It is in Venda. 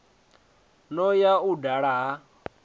no ya u dala ha